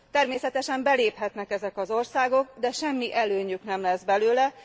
Természetesen beléphetnek ezek az országok, de semmi előnyük nem lesz belőle.